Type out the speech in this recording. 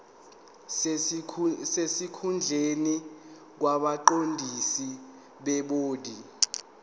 sesikhundleni kwabaqondisi bebhodi